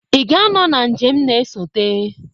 Ị ga-anọ na njem na-esote.